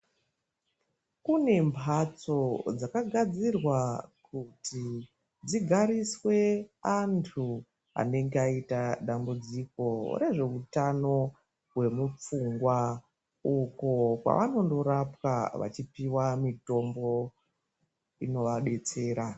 Kune mhatso dzakagadzirwa kuti dzigariswe antu anenge aita dambudziko rezveutano hwemupfungwa uko kwavanonorapwa vachipiwa mitombo inovadetsera.